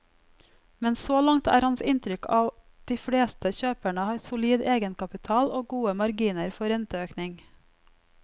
Men så langt er hans inntrykk at de fleste kjøperne har solid egenkapital og gode marginer for renteøkning.